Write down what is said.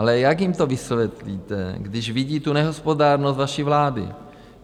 Ale jak jim to vysvětlíte, když vidí tu nehospodárnost vaší vlády?